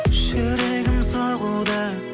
жүрегім соғуда